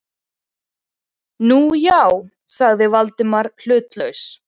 Nú, já- sagði Valdimar hlutlaust.